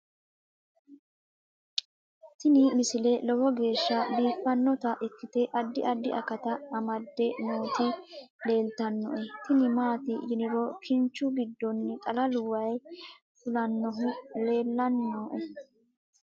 tini misile lowo geeshsha biiffannota ikkite addi addi akata amadde nooti leeltannoe tini maati yiniro kinchu giddonni xalalu waayi fulnnohu leellanni nooe